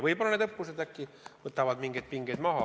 Vahest need õppused võtavad mingeid pingeid maha.